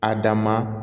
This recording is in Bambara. A dan ma